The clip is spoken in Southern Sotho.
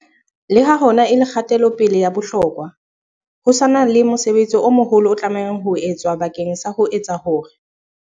Le ha hona e le kgatelo-pele ya bohlokwa, ho sa na le mosebetsi o moholo o tlamehang ho etswa bakeng sa ho etsa hore